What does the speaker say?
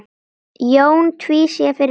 Jón tvísté fyrir neðan.